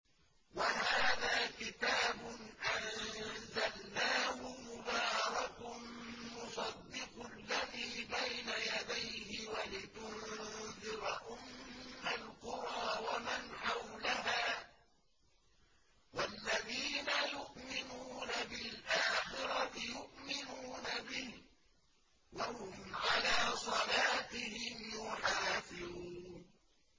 وَهَٰذَا كِتَابٌ أَنزَلْنَاهُ مُبَارَكٌ مُّصَدِّقُ الَّذِي بَيْنَ يَدَيْهِ وَلِتُنذِرَ أُمَّ الْقُرَىٰ وَمَنْ حَوْلَهَا ۚ وَالَّذِينَ يُؤْمِنُونَ بِالْآخِرَةِ يُؤْمِنُونَ بِهِ ۖ وَهُمْ عَلَىٰ صَلَاتِهِمْ يُحَافِظُونَ